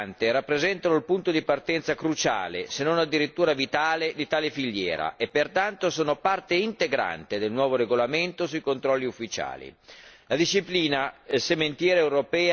Non dobbiamo infatti dimenticare che le sementi e le piante rappresentano il punto di partenza cruciale, se non addirittura vitale, di tale filiera e pertanto sono parte integrante del nuovo regolamento sui controlli ufficiali.